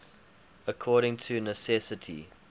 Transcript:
according to necessity